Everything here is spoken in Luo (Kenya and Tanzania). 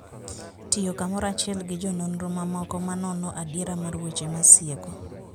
Tiyo kamoro achiel gi jononro mamoko ma nono adiera mar weche masieko